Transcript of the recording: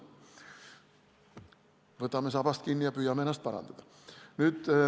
Aga võtame sabast kinni ja püüame ennast parandada.